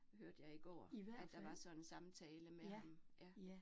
Hørte jeg i går, at der var sådan en samtale mellem ja